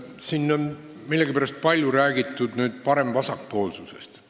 Siin on millegipärast palju räägitud parem- ja vasakpoolsusest.